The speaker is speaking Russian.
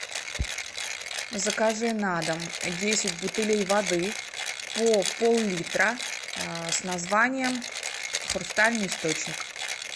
закажи на дом десять бутылей воды по поллитра с названием хрустальный источник